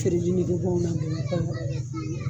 feereli nigi bɔ anw na Bamakɔ yan.